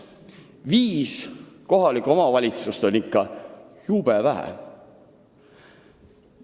Viis kohalikku omavalitsust on ikka jube vähe.